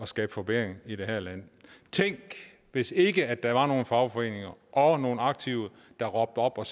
skabe forbedringer i det her land tænk hvis ikke der var nogle fagforeninger og nogle aktive der råbte op og